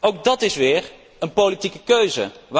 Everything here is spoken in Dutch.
Ook dat is weer een politieke keuze.